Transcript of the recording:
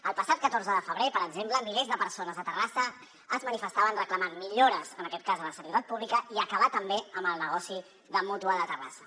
el passat catorze de febrer per exemple milers de persones a terrassa es manifestaven reclamant millores en aquest cas de la sanitat pública i acabar també amb el negoci de mútua de terrassa